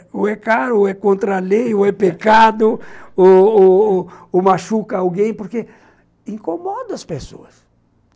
Ou é caro, ou é contra a lei, ou é pecado, ou ou ou ou machuca alguém, porque incomoda as pessoas.